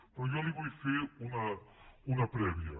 però jo li vull fer una prèvia